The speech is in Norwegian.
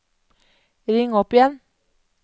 ring opp igjen